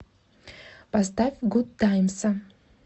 поставь гудтаймса